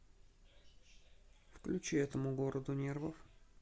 включи этому городу нервов